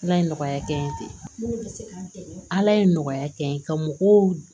Ala ye nɔgɔya kɛ n ye ten ala ye nɔgɔya kɛ n ye ka mɔgɔw